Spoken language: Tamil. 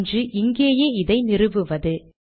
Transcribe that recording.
ஒன்று இங்கேயே இதை நிறுவுவது